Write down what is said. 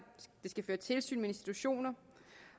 føre tilsyn med institutioner